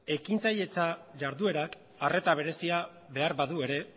ekintzailetza jarduerak arreta berezi behar badu ere